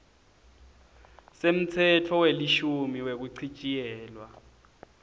semtsetfo welishumi wekuchitjiyelwa